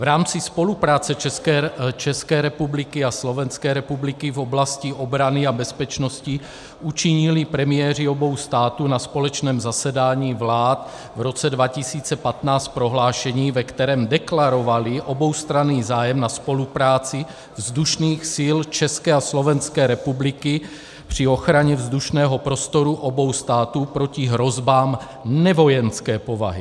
V rámci spolupráce České republiky a Slovenské republiky v oblasti obrany a bezpečnosti učinili premiéři obou států na společném zasedání vlád v roce 2015 prohlášení, ve kterém deklarovali oboustranný zájem na spolupráci vzdušných sil České a Slovenské republiky při ochraně vzdušného prostoru obou států proti hrozbám nevojenské povahy.